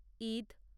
Eid